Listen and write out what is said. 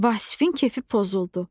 Vasifin kefi pozuldu.